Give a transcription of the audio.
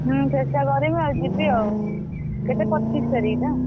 ହୁଁ ଚେଷ୍ଟା କରିବି ଆଉ ଯିବି ଆଉ କେତେ ପଚିଶ ତାରିଖ ତ?